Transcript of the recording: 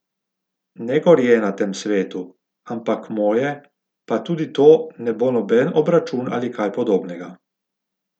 Ne gorje na tem svetu, ampak moje, pa tudi to ne bo noben obračun ali kaj podobnega.